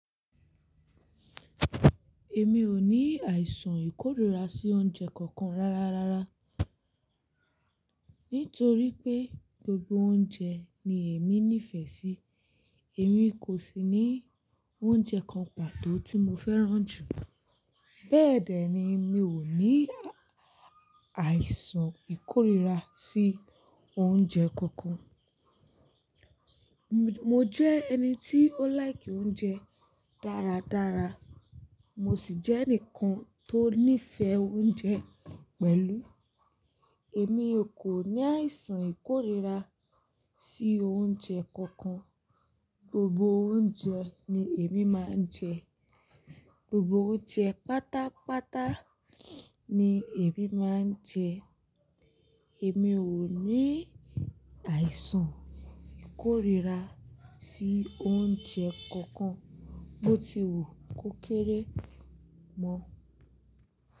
Èmi ò ní àìsàn ìkórìíra sí oúnjẹ kankan rárárá. Nítorí pé gbogbo oúnjẹ ni èmi nífẹ̀ẹ́ sí. Èmi kò sì ní oúnjẹ kan pàtó tí mo fẹ́ràn jù, bẹ́ẹ̀dẹ̀ ni mi ò ní àìsàn ìkórìíra sí oúnjẹ kankan. Mo jẹ́ ẹni tí ó like oúnjẹ dáradára. Mo sì jẹ́ ẹnìkan tó nífẹ̀ẹ́ oúnjẹ pẹ̀lú. Èmi kò ní àìsàn ìkórìíra sí oúnjẹ kankan. Gbogbo oúnjẹ ni èmi máa ń jẹ. Gbogbo oúnjẹ pátápátá ni èmi máa ń jẹ. Èmi ò ní àìsàn ìkórìíra sí oúnjẹ kankan. Mo ti wù kó kéré mọ́.